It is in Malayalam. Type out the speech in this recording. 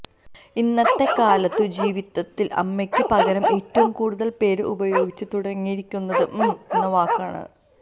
ഇന്നത്തെ കാലത്തു ജീവിതത്തില് അമ്മയ്ക്ക് പകരം ഏറ്റവും കൂടുതല് പേര് ഉപയോഗിച്ച് തുടങ്ങിയിരിക്കുന്നത് മം എന്ന വാക്കാണ്